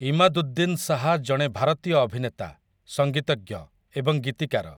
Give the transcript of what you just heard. ଇମାଦୁଦ୍ଦିନ ଶାହା ଜଣେ ଭାରତୀୟ ଅଭିନେତା, ସଂଗୀତଜ୍ଞ ଏବଂ ଗୀତିକାର ।